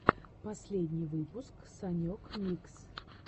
последний выпуск санек микс